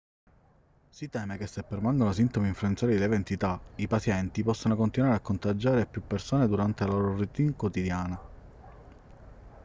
si teme che se permangono sintomi influenzali di lieve entità i pazienti possano continuare a contagiare più persone durante la loro routine quotidiana